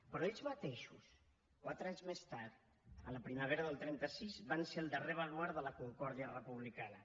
però ells mateixos quatre anys més tard a la primavera del trenta sis van ser el darrer baluard de la concòrdia republicana